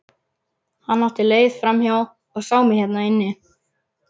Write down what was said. Hann átti leið framhjá og sá mig hérna inni.